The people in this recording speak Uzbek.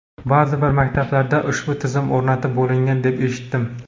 Ba’zi bir maktablarda ushbu tizim o‘rnatib bo‘lingan deb eshitdim.